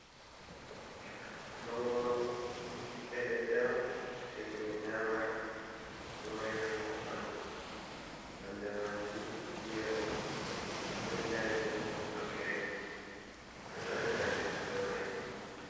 Mangoro ɓiɓɓe leɗɗe on je himɓe nyamata ,ɗo mari nafu ha ɓanɗu nonɗe majum yelo, to ɓenɗai ɓo ɗo girin ɓe ɗo waɗira jus ɓe Mai.